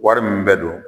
Wari min bɛ don